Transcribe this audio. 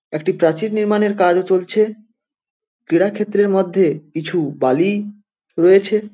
একটি প্রাচীর নির্মাণের কাজও চলছে । ক্রীড়া ক্ষেত্রের মধ্যে কিছু বালি রয়েছে।